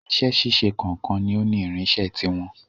Iṣẹ́ ṣíṣe kọ̀ọ̀kan ni ó ní irinṣẹ́ ti wọn.